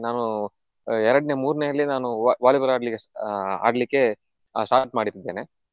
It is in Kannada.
ನಾನು ಎರಡ್ನೆ ಮೂರ್ನೆಯಲ್ಲೇ ನಾನು Vo~ Volleyball ಆಡ್ಲಿಕ್ಕೆ ಆಹ್ ಆಡ್ಲಿಕ್ಕೆ ಆಹ್ start ಮಾಡಿದ್ದೇನೆ.